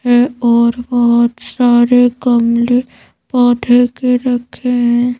है और बहुत सारे गमले पौधे के रखे हैं।